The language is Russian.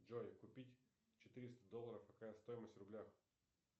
джой купить четыреста долларов какая стоимость в рублях